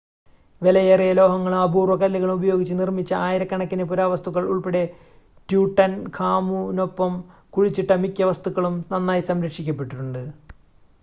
വിലയേറിയ ലോഹങ്ങളും അപൂർവ്വ കല്ലുകളും ഉപയോഗിച്ച് നിർമ്മിച്ച ആയിരക്കണക്കിന് പുരാവസ്തുക്കൾ ഉൾപ്പടെ ട്യൂട്ടൻഖാമുനൊപ്പം കുഴിച്ചിട്ട മിക്ക വസ്തുക്കളും നന്നായി സംരക്ഷിക്കപ്പെട്ടിട്ടുണ്ട്